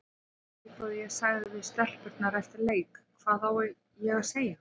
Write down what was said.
Svipað og ég sagði við stelpurnar eftir leik, hvað á ég að segja?